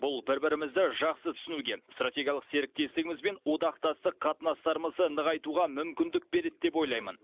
бұл бір бірімізді жақсы түсінуге стратегиялық серіктестігіміз бен одақтастық қатынастарымызды нығайтуға мүмкіндік береді деп ойлаймын